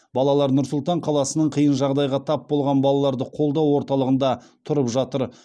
балалар нұр сұлтан қаласының қиын жағдайға тап болған балаларды қолдау орталығында тұрып жатыр